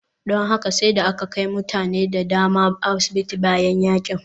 Don haka sai da aka kai mutane da dama asibiti bayan yakin.